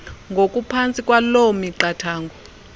ngokuphantsi kwaloo miqathango